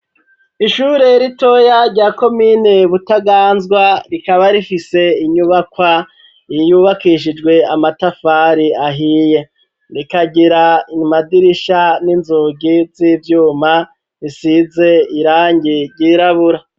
Ishure ritoya rya ko mine butaganzwa rikaba rifise inyubakwa yiyubakishijwe amatafari ahiye rikagira iymadirisha n'inzugi z'ivyuma risize irangi ryirabura.